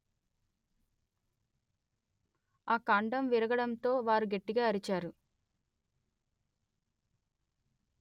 ఆ కాండం విరిగడంతో వారు గట్టిగా అరిచారు